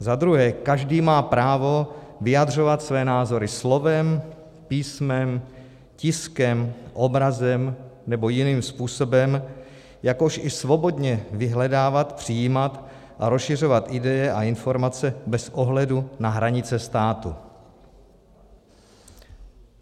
Za druhé, každý má právo vyjadřovat své názory slovem, písmem, tiskem, obrazem nebo jiným způsobem, jakož i svobodně vyhledávat, přijímat a rozšiřovat ideje a informace bez ohledu na hranice státu.